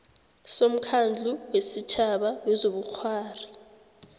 somkhandlu wesitjhaba wezobukghwari